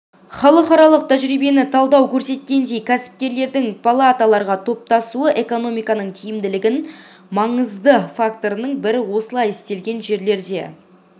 халықаралық тәжірибені талдау көрсеткендей кәсіпкерлердің палаталарға топтасуы экономиканың тиімділігінің маңызды факторының бірі осылай істелген жерлерде